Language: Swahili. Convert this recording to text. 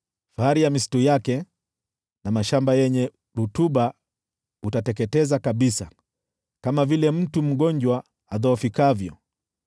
Fahari ya misitu yake na mashamba yenye rutuba utateketeza kabisa, kama vile mtu mgonjwa adhoofikavyo.